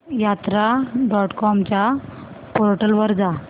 यात्रा dot com च्या portal वर जा